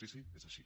sí sí és així